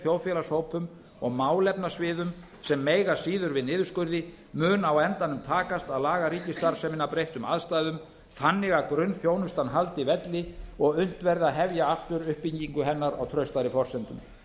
þjóðfélagshópum og málefnasviðum sem mega síður við niðurskurði mun á endanum takast að laga ríkisstarfsemina að breyttum aðstæðum þannig að grunnþjónustan haldi velli og unnt verði að hefja aftur uppbyggingu hennar á traustari forsendum